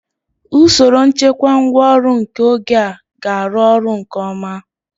Usoro nchekwa ngwá ọrụ nke oge a ga-arụ ọrụ nke ọma.